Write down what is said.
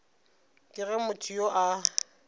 ke ge motho yo a